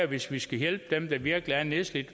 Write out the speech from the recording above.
hvis vi skal hjælpe dem der virkelig er nedslidte